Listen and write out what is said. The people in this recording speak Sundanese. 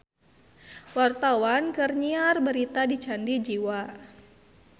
Wartawan keur nyiar berita di Candi Jiwa